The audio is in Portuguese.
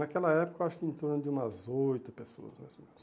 Naquela época eu acho que em torno de umas oito pessoas mais ou menos.